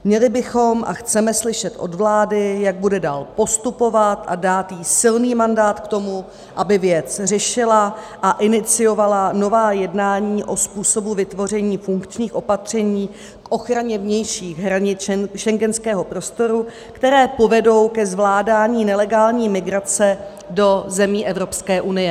Měli bychom a chceme slyšet od vlády, jak bude dál postupovat, a dát jí silný mandát k tomu, aby věc řešila a iniciovala nová jednání o způsobu vytvoření funkčních opatření k ochraně vnějších hranic schengenského prostoru, která povedou ke zvládání nelegální migrace do zemí Evropské unie...